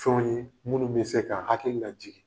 Fɛnw ye munnu be se k'an hakili lajigi.